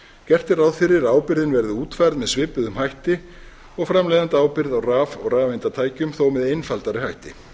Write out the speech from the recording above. gert er ráð fyrir að ábyrgðin verði útfærð með svipuðum hætti og framleiðendaábyrgð á raf og rafeindatækjum þó með einfaldari hætti